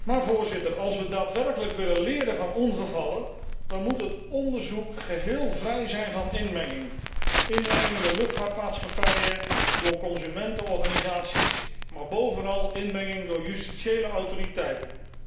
Maar als wij daadwerkelijk willen leren van ongevallen dan moet het onderzoek geheel vrij zijn van inmenging, inmenging in de luchtvaartmaatschappijen door consumentenorganisaties, maar bovenal inmenging door justitiële autoriteiten.